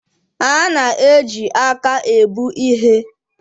A na-eji aka ebu ihe